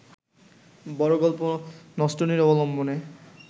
বড় গল্প নষ্টনীড় অবলম্বনে